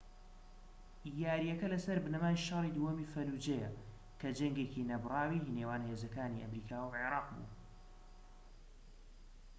یارییەکە لەسەر بنەمای شەڕی دووەمی فەلوجەیە کە جەنگێکی نەبڕاوی نێوان هێزەکانی ئەمریکا و عێراق بوو